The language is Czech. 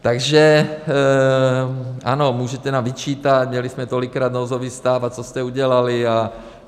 Takže ano, můžete nám vyčítat, měli jsme tolikrát nouzový stav a co jste udělali.